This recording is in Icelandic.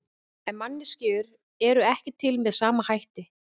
En manneskjur eru ekki til með sama hætti.